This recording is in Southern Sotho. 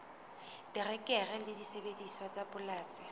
terekere le disebediswa tsa polasing